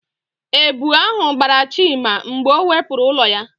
Èbù ahụ gbara Chima mgbe ọ wepụrụ ụlọ ya.